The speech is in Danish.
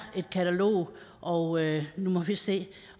et katalog og nu må vi se